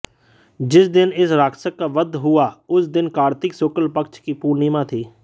जिस दिन इस राक्षस का वध हुआ उस दिन कार्तिक शुक्ल पक्ष की पूर्णिमा थी